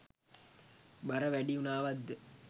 බර වැඩි වුනාවත්ද?